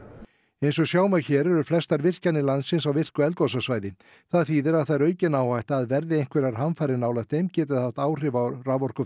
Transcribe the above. eins og sjá má hér eru flestar virkjanir landsins á virku eldgosasvæði það þýðir að það er aukin áhætta að verði einhverjar hamfarir nálægt þeim þá gæti það haft áhrif á